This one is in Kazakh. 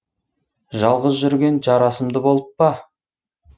жалғыз жүрген жарасымды болып па